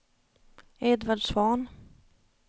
Edvard Svahn